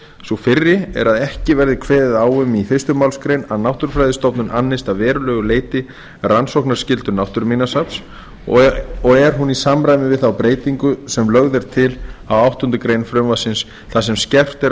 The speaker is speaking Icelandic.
sú fyrri er að ekki verði kveðið á um í fyrstu málsgrein að náttúrufræðistofnun annist að verulegu leyti rannsóknarskyldu náttúruminjasafnsins og er hún í samræmi við þá breytingu sem lögð er til á áttundu greinar frumvarpsins þar sem skerpt er á